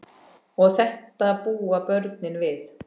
Og þetta búa börnin við.